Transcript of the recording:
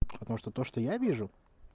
потому что то что я вижу